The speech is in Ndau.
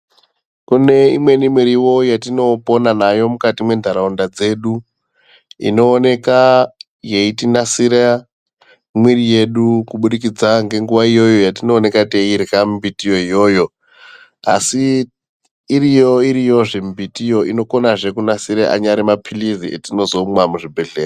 Kune imweni miriwo yatinopona nayo mukati mwenharaunda dzedu. Inooneka yeitinasira mwiri yedu kubudikidza ngenguwa iyo yatinooneka yatinooneka teidyra mbiti yo iyoyo. Asi iriyo iriyozvee mbitiyo inokonazvee kunasira mapilizi atinozomwa muzvibhedhlera.